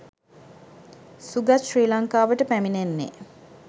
සුගත් ශ්‍රී ලංකාවට පැමිණෙන්නේ